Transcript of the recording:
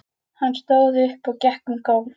Hann stóð upp og gekk um gólf.